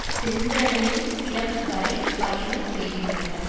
சென்றடையும் இடம் வரை பயணம் செய்கின்றனர்